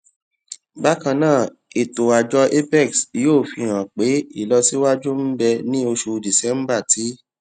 bákan náà ètò àjọ apex yóò fi hàn pé ìlọsíwájú ń bẹ ní oṣù december tí